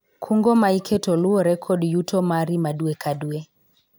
kungo ma iketo luwore kod yuto mari ma dwe ka dwe